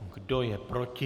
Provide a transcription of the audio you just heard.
Kdo je proti?